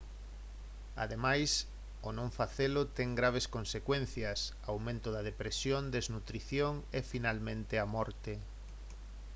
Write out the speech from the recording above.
ademais o non facelo ten graves consecuencias aumento da depresión desnutrición e finalmente a morte